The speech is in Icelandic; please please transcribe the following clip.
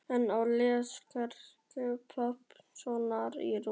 En ég les Kærleiksheimili Gests Pálssonar í rúminu.